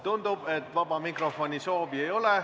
Tundub, et vaba mikrofoni soovi ei ole.